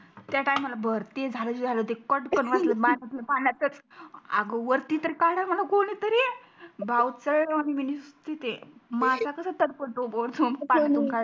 त्या टाइम ला भारती झाल तर झाल ते कटकण वाजल पाण्यातल्या पाण्यातच अग वतरी तर काडा म्हणा कोणी तरी भावचड वाणी मी निसती ते मासा कसा तडफडतो वरतून काडतो